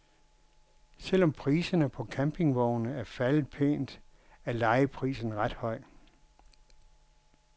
Selv om priserne på campingvogne er faldet pænt, er lejeprisen ret høj.